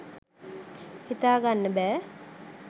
හිතාගන්න බෑ